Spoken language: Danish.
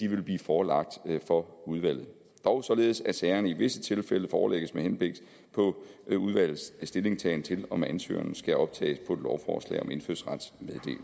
vil blive forelagt for udvalget dog således at sagerne i visse tilfælde forelægges med henblik på udvalgets stillingtagen til om ansøgeren skal optages på et lovforslag om indfødsrets